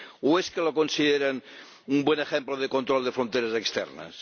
¿O es que lo consideran un buen ejemplo de control de fronteras externas?